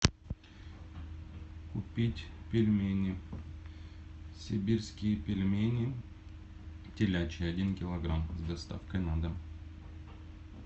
купить пельмени сибирские пельмени телячьи один килограмм с доставкой на дом